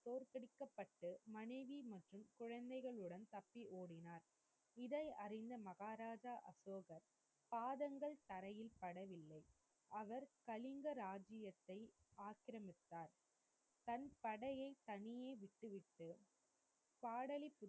படைகளுடன் தப்பி ஓடினார். இதை அறிந்த மகாராஜா அசோகர் பாதங்கள் தரையில் படவில்லை. அவர் கலிங்க ராஜ்ஜியத்தை ஆக்கிரமித்தார். தன படையை தனியே விட்டுவிட்டு,